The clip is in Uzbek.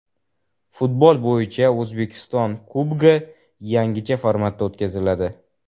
Futbol bo‘yicha O‘zbekiston Kubogi yangicha formatda o‘tkaziladi.